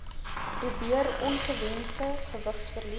probeer ongewensde gewigsverlies